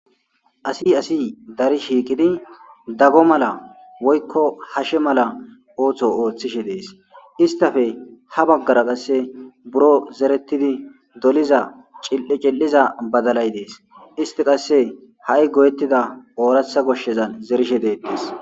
Asi asi dari shiikini daggo mala woykko hashe mala ooththo ooththishe dees istafe ha baggara qasse buro zerettidi doliza cil7i cil7iza badalay dees isti qasse ha7i goyettida ooratha goshshezan zerishe deettis.